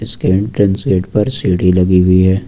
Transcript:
इसके entrance gate पर सीढ़ी लगी हुई है।